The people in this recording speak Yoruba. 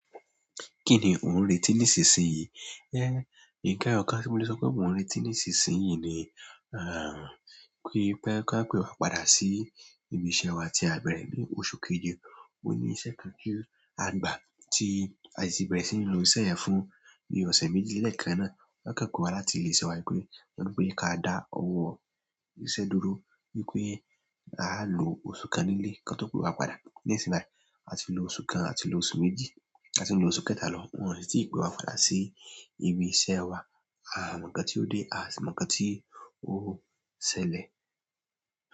Kíni ò ń retí nísinsìnyí? Éhn, nkan eyọ̀kan, ti mo lè sọ pé mò ń retí nísinsìnyí ni, à pi, pé kan pé wa padà sí ibi iṣẹ́ wa tí a bẹ̀rẹ̀ ní oṣù keje. Ó níṣẹ́ kan tu à gbà tí a si ti bẹ̀rẹ̀ sí ní lo iṣẹ́ fún bií ọ̀sẹ̀ méjì léekàn náà. Won kan pe wá láti ilé iṣẹ́ wa wípé, won nipé ka dá owó iṣẹ́ dúró wípé a a lo oṣù kan nílé kọ́n tó pé wa padà. Nisinyii báyìí, a ti lo oṣù kan, a ti lo oṣù méjì, a ti n lo oṣù kẹ́ta lọ, wọ́n sì ti pé wa padà sí ibi iṣẹ́ wa. À mọ̀ nkan tí ó dé, à si mọ̀ nkan tí ó ṣẹlẹ̀.